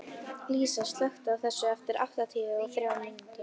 Lísa, slökktu á þessu eftir áttatíu og þrjár mínútur.